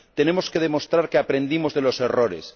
Tenemos que demostrar que aprendimos de los errores.